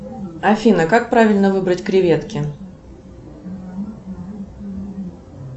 афина как правильно выбрать креветки